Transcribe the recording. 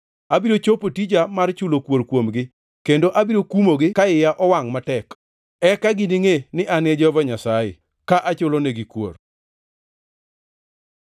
Abiro chopo tija mar chulo kuor kuomgi, kendo abiro kuomgi ka iya owangʼ matek. Eka giningʼe ni An e Jehova Nyasaye, ka anachulnigi kuor.’ ”